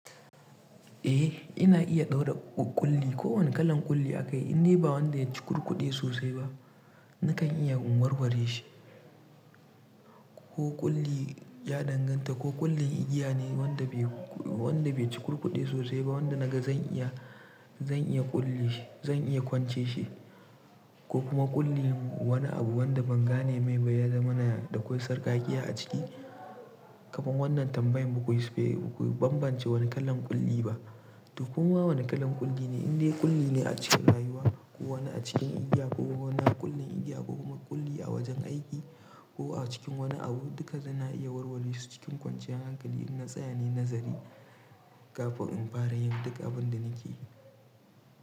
Eh ina iya ɗaura ƙulli, ko wane kalan ƙulli aka yi, in dai ba wanda ya ci cukurkude sosai ba, nakan iya in warware shi. Ko ƙulli ya danganta, ko ƙullin igiya ne wanda bai cukurkude sosai ba, wanda naga zan iya ƙulli shi, zan iya kwance shi ko kuma ƙulli wani abu wanda ban gane mai ba ya zamana da akwai sarƙakiya a ciki. Kaman wannan tambayan ba ku bambance wane kalan ƙulli ba. To kuma wane kalan ƙulli ne? In dai ƙulli ne a cikin rayuwa ko wani a cikin igiya ko wani ƙullin igiya ko kuma ƙulli a wajen aiki ko a cikin wani abu, duka suna iya warware su cikin kwanciyar hankali in na tsaya ne nazari kafin in fara yin duka abun da nake yi.